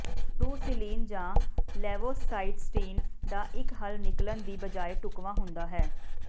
ਫ਼ਰੂਸੀਲੀਨ ਜਾਂ ਲੇਵੋਸਾਈਸਟੀਨ ਦਾ ਇੱਕ ਹੱਲ ਨਿਕਲਣ ਦੀ ਬਜਾਏ ਢੁਕਵਾਂ ਹੁੰਦਾ ਹੈ